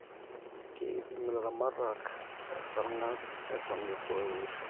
keipim ilaramatak esarngab eton etu eunisho